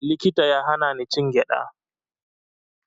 Likita ya hana ni cin gyaɗa